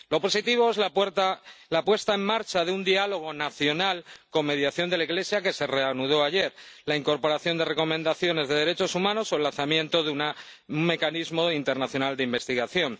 Lo positivo es la puesta en marcha de un diálogo nacional con mediación de la Iglesia que se reanudó ayer, la incorporación de recomendaciones de derechos humanos o el lanzamiento de un mecanismo internacional de investigación.